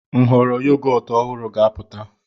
Nhọrọ yogọt ọhụrụ ga-apụta.